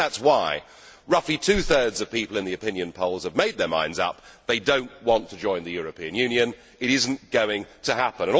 I think that is why roughly two thirds of people in the opinion polls have made their minds up they do not want to join the European Union. It is not going to happen!